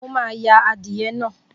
Mo máa ya adìẹ naa.